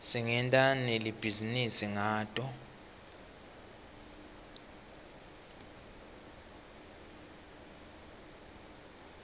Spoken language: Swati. singenta nali bhizinisi ngato